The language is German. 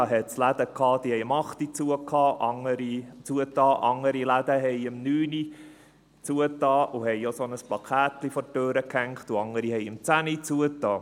Da gibt es Läden, die haben um 20 Uhr geschlossen, andere um 21 Uhr und haben auch ein entsprechendes Plakätchen an die Türe gehängt, und andere haben um 22 Uhr geschlossen.